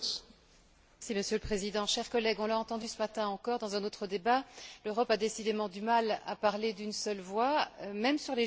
Monsieur le Président, chers collègues, on l'a entendu ce matin encore, dans un autre débat l'Europe a décidément du mal à parler d'une seule voix, même sur les jus de fruits.